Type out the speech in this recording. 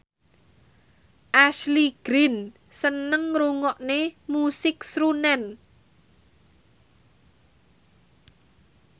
Ashley Greene seneng ngrungokne musik srunen